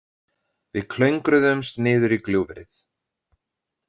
Við klöngruðumst niður í gljúfrið.